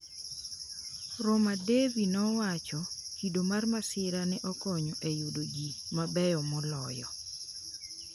Rema Devi nowacho “Kido mar masira ne okonyo e yudo ji mabeyo moloyo.”